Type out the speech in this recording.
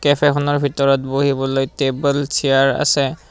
কেফেখনৰ ভিতৰত বহিবলৈ table chair আছে।